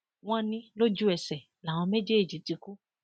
wọn ní lójú ẹsẹ làwọn méjèèjì ti kú